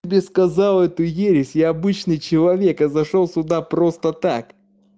тебе сказал эту ересь я обычный человек а зашёл сюда просто так